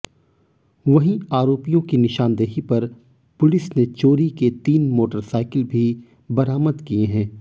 वहीं आरोपियों की निशानदेही पर पुलिस ने चोरी के तीन मोटरसाइकिल भी बरामद किए हैं